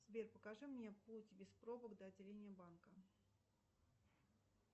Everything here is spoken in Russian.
сбер покажи мне путь без пробок до отделения банка